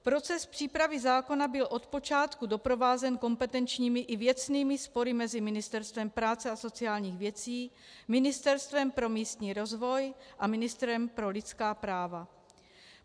Proces přípravy zákona byl od počátku doprovázen kompetenčními i věcnými spory mezi Ministerstvem práce a sociálních věcí, Ministerstvem pro místní rozvoj a ministrem pro lidská práva.